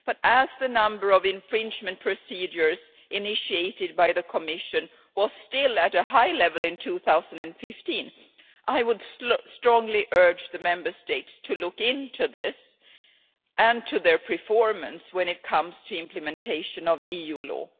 As the number of infringement procedures initiated by the Commission was still at a high level in 2015, I would strongly urge the Member States to look into this and into their performance when it comes to implementation of EU law.